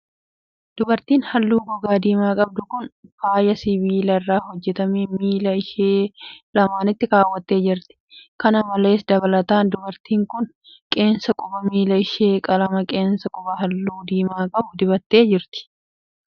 Dubartiin haalluu gogaa diimaa qabdu kun, faaya sibiila irraa hojjatame miila ishee lamaanitti kaawwattee jirti. Kana malees dabalataan dubartiin kun, qeensa quba miila ishee qalama qeensa qubaa haalluu diimaa qabu dibattee jirti.